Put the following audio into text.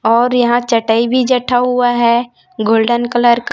और यहां चटाई भी जठा हुआ है गोल्डन कलर का--